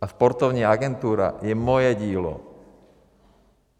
A sportovní agentura je moje dílo.